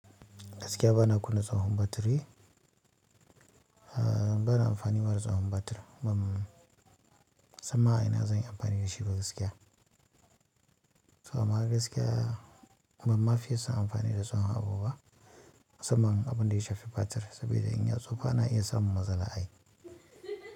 Gaskiya bana kunna tsohon batiri, bana amfani ma da tsohon batir. Ban, samma ina zan yi amfani da shi ba gaskiya. To amma gaskiya ban ma fiye son amfani da tsohon abu ba musamman abunda ya shafi batir saboda in ya tsufa ana iya samun matsala ai.